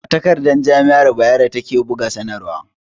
A takarda jami'ar Bayero ta ke buga sanarwa